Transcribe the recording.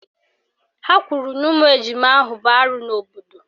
Ha kwuru na ụmụ ejima ahụ bụ arụ n'obodo